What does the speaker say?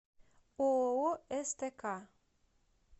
ооо стк